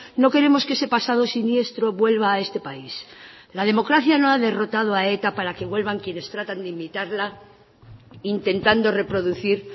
no queremos que ese pasado siniestro vuelva a este país la democracia no ha derrotado a eta para que vuelvan quienes tratan de imitarla intentando reproducir